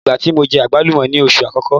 Ìgbá tí mo jẹ àgbálùmọ́ ni oṣù àkọ́kọ́.